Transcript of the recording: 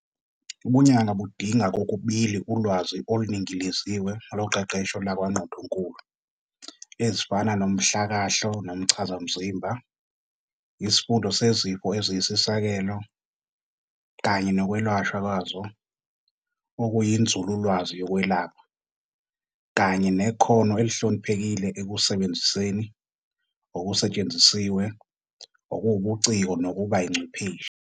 Ubunyanga budinga kokubili ulwazi oluningiliziwe loqeqesho lakwaNgqondonkulu, ezifana nomhlakahlo nomchazamzimba, isifundo sezifo eziyisisekelo, kanye nokwelashwa kwazo, okuyinzululwazi yokwelapha, kanye nekhono elihloniphekile ekuzisebenziseni, okusetshenzisiwe, okuwubuciko nokuba ingcwepheshi.